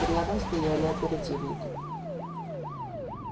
рядом стояли оперативники